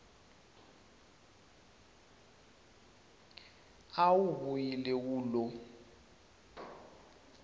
a wu vuyile wu lo